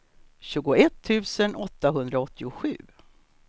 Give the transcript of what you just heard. tjugoett tusen åttahundraåttiosju